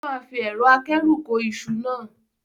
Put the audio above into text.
O máa fi ẹ̀rọ akẹ́rù kó iṣu náà.